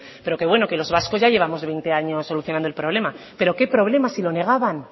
pero bueno que los vascos ya llevamos veinte años solucionando el problema pero qué problema si lo negaban